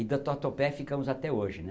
E do Tatuapé ficamos até hoje, né?